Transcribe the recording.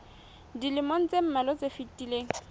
dilemong tse mmalwa tse fetileng